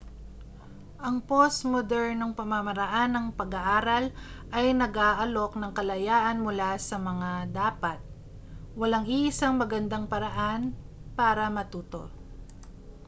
ang postmodernong pamamaraan ng pag-aaral ay nag-aalok ng kalayaan mula sa mga dapat walang iisang magandang paraan para matuto